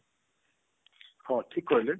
ହଁ ଠିକ କହିଲେ